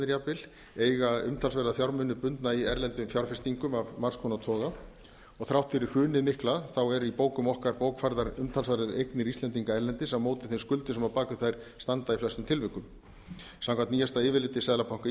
jafnvel eiga umtalsverða fjármuni bundna í erlendum fjárfestingum af margs konar toga og þrátt fyrir hrunið mikla eru í bókum okkar bókfærðar umtalsverðar eignir íslendinga erlendis á móti þeim skuldum sem á bak við þær standa í flestum tilvikum samkvæmt nýjasta yfirliti seðlabanka